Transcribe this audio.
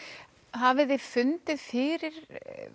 hafiði fundið fyrir